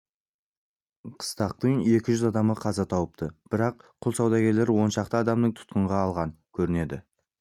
қыстақтың екі жүз адамы қаза тауыпты бірақ құл саудагерлері оншақты адамын тұтқынға алған көрінеді